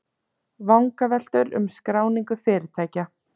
Vangaveltur um skráningu fyrirtækja